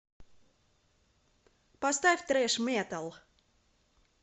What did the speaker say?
поставь трэш метал